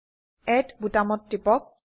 add বোতামত টিপক